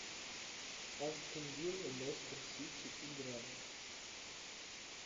астон вилла лестер сити игра